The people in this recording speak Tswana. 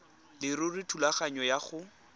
leruri thulaganyo ya go